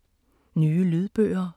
Nye lydbøger